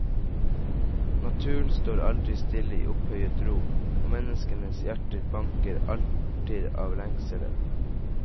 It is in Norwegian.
Naturen står aldri stille i opphøyet ro, og menneskenes hjerter banker alltid avlengsel.